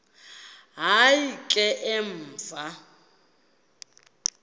hayi ke emva